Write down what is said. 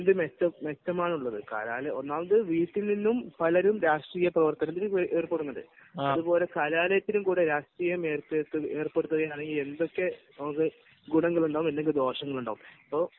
ഒന്നാമത് വീട്ടിൽ നിന്നും പലരുന്ന രാഷ്ട്രീയ പ്രവർത്തനത്തിന് പോകുന്നത് അതുപോലെ കലാലയത്തിലെ രാഷ്ട്രീയം ഏർപ്പെടുത്തിയാൽ നമുക്ക് എന്തൊക്കെ ഗുണങ്ങളുണ്ടാവും അല്ലെങ്കിൽ ദോഷങ്ങളുണ്ടാവും